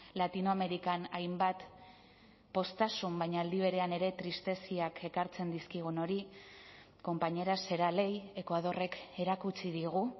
latinoamerikan hainbat poztasun baina aldi berean ere tristeziak ekartzen dizkigun hori compañeras será ley ekuadorrek erakutsi digu